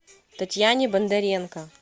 татьяне бондаренко